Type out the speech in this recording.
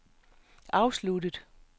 afsluttet